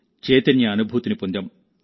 చైతన్య అనుభూతిని పొందాం